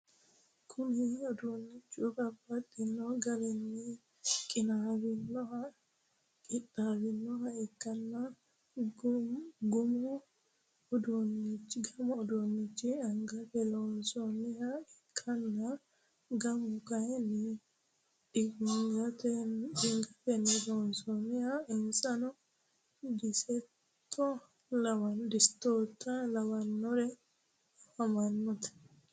Kuni udunichi babaxino garini qinawinohana qixawinoha ikana gamu udunichi angate loonsoniha ikana gamu kayin diangate loonsoniho insano disteo lawinorino afamanowati?